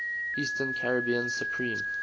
eastern caribbean supreme